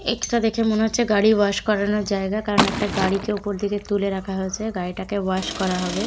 একটা দেখে মনে হচ্ছে গাড়ি ওয়াশ করানোর জায়গা কারণ একটা গাড়িকে উপর দিকে তুলে রাখা হয়েছে গাড়ি টাকে ওয়াশ করা হবে।